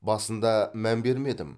басында мән бермедім